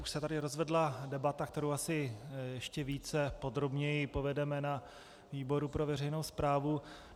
Už se tady rozvedla debata, kterou asi ještě více podrobně povedeme na výboru pro veřejnou správu.